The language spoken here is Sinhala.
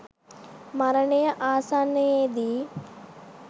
මරණය ආසන්නයේදී